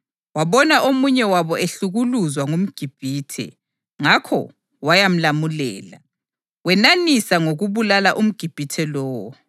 Wabona omunye wabo ehlukuluzwa ngumGibhithe, ngakho wayamlamulela, wenanisa ngokubulala umGibhithe lowo.